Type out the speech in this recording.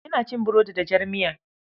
Ina cin burodi da jar miya.